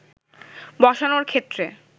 বসানোর ক্ষেত্রে